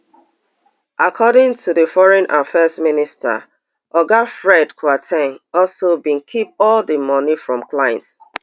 according to di foreign affairs minister oga fred kwar ten g also bin keep all di moni from clients